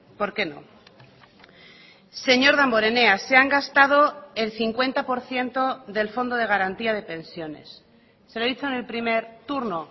porqué no señor damborenea se han gastado el cincuenta por ciento del fondo de garantía de pensiones se lo he dicho en el primer turno